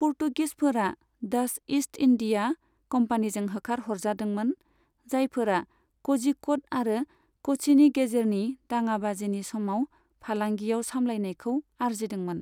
पर्तुगिसफोरा Dutch East India कम्पानिजों होखार हरजादोंमोन, जायफोरा क'झिक'ड आरो क'च्चिनि गेजेरनि दाङाबाजिनि समाव फालांगियाव सामलायनायखौ आरजिदोंमोन।